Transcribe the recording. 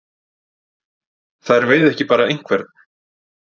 Þær veiða ekki bara einhvern.